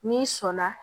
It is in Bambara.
N'i sɔnna